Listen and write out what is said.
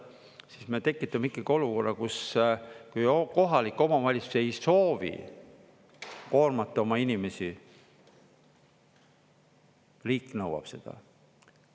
Siis me tekitame ikkagi olukorra, kus kohalik omavalitsus ei soovi koormata oma inimesi, riik nõuab seda.